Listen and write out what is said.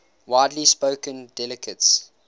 widely spoken dialects